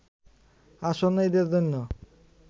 আসন্ন ঈদের জন্য